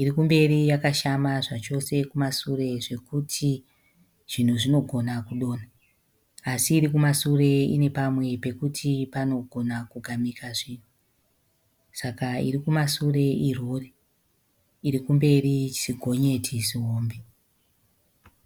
Iri kumberi yakashama zvachose kumasure zvokuti zvinhu zvinogona kudonha asi iri kumasure ine pamwe pokuti panogona kugamika zvinhu saka iri kumashure irori iri kumberi zigonyeti zihombe.